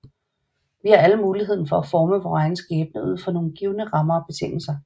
Vi har alle muligheden for at forme vor egen skæbne ud fra nogle givne rammer og betingelser